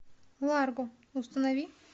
ларго установи